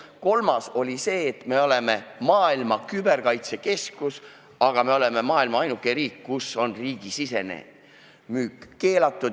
Kolmandaks: me oleme maailma küberkaitsekeskus, aga me oleme maailmas ainuke riik, kus on riigisisene müük keelatud.